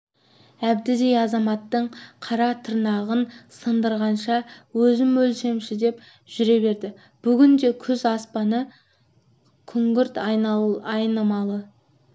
әбдідей азаматтың қара тырнағын сындырғанша өзім өлсемші деп жүре берді бүгін де күз аспаны күңгірт айнымалы